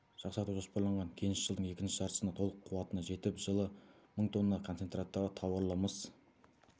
жақсарту жоспарланған кеніш жылдың екінші жартысында толық қуатына жетіп жылы мың тонна концентраттағы тауарлы мыс